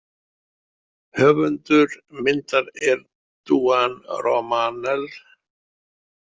Höfundur myndar er Duane Romanell.